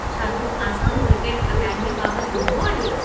छा तूं Assam cricket academy बाबति ॿुधो आहे?